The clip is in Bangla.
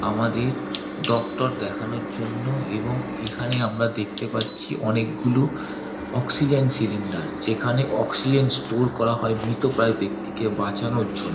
আমাদের ডক্টর দেখানোর জন্য এবং এইখানে আমরা দেখতে পাচ্ছি অনেক গুলো অক্সিজেন সিলিন্ডার । যেখানে অক্সিজেন স্টোর করা হয় মৃতপ্রায় ব্যাক্তিকে বাঁচানোর জন্য।